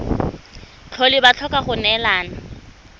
tlhole ba tlhoka go neelana